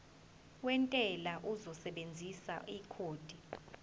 wentela uzosebenzisa ikhodi